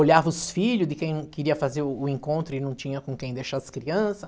Olhava os filhos de quem queria fazer o o encontro e não tinha com quem deixar as crianças.